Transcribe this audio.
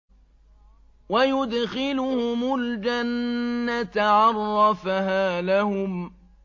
وَيُدْخِلُهُمُ الْجَنَّةَ عَرَّفَهَا لَهُمْ